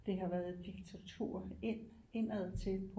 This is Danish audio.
Det har været et diktatur ind indadtil